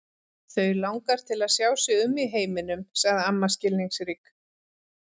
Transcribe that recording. Þau langar til að sjá sig um í heiminum sagði amma skilningsrík.